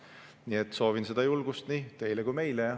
Nii et soovin seda julgust nii teile kui ka meile.